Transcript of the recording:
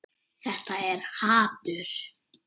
Þetta er hatur.